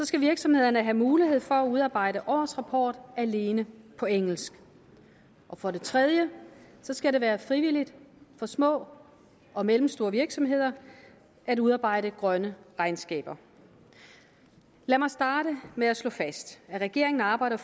skal virksomhederne have mulighed for at udarbejde årsrapport alene på engelsk for det tredje skal det være frivilligt for små og mellemstore virksomheder at udarbejde grønne regnskaber lad mig starte med at slå fast at regeringen arbejder